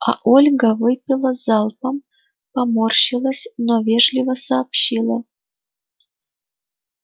а ольга выпила залпом поморщилась но вежливо сообщила